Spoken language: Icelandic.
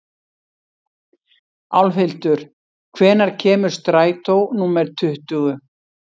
Álfhildur, hvenær kemur strætó númer tuttugu?